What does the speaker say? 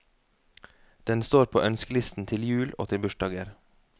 Den står på ønskelisten til jul og til bursdager.